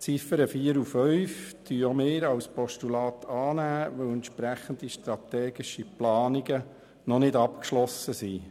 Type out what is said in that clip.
Die Ziffern 4 und 5 nehmen auch wir als Postulat an, da entsprechende strategische Planungen noch nicht abgeschlossen sind.